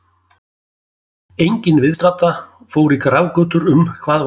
Enginn viðstaddra fór í grafgötur um hvað var að gerast.